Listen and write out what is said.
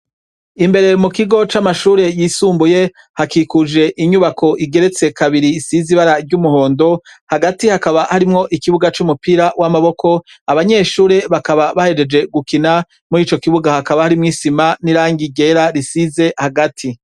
Imbere mukigo camashure yisumbuye hakikuje inyubako igeretse kabiri isize ibara ryumuhondo hagati hakaba harimwo ikibuga cumupira wamaboko abanyeshure bakaba bahejeje gukina, muri ico kibuga hakaba harimwo isima nirangi ryera risize hagati.